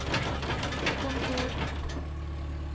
kontor